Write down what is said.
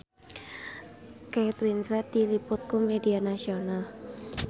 Kate Winslet diliput ku media nasional